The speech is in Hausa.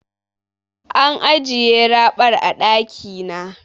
An ajiye raɓar a ɗaki na.